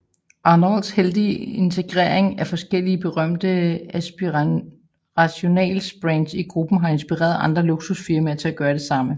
Arnaults heldige integrering af forskellige berømte aspirational brands i gruppen har inspireret andre luksusfirmaer til at gøre det samme